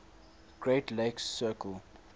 great lakes circle